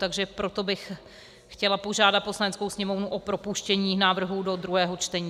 Takže proto bych chtěla požádat Poslaneckou sněmovnu o propuštění návrhu do druhého čtení.